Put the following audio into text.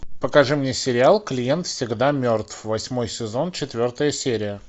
покажи мне сериал клиент всегда мертв восьмой сезон четвертая серия